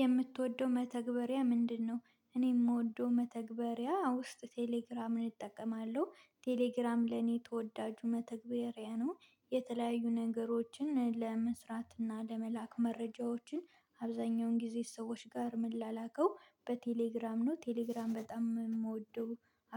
የምትወደው መተግበሪያ ምንድነው? እኔ የምወደው መተግበሪያ ውስጥ ቴሌግራምን እጠቀማለሁ ቴሌግራም ለኔ ተወዳጁ መተግበሪያ ነው። የተለያዩ ነገሮችን ለመስራት እና ለመላክ መረጃዎችን አብዛኛውን ጊዜ ሰዎች ጋር ምላላከው በቴሌግራም ነው ቴሌግራም በጣም የምወደው